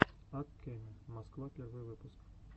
ак кеме москва первый выпуск